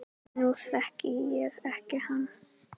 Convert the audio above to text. Nú þekki ég ekki hann